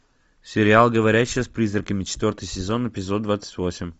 сериал говорящая с призраками четвертый сезон эпизод двадцать восемь